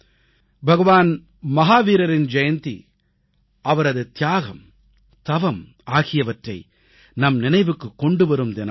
பகவான் மஹாவீரரின் ஜெயந்தி அவரது தியாகம் தவம் ஆகியவற்றை நம் நினைவுக்குக் கொண்டு வரும் தினமாகும்